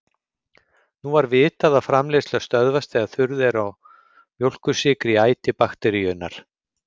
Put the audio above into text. Nú var vitað að framleiðsla stöðvast þegar þurrð er á mjólkursykri í æti bakteríunnar.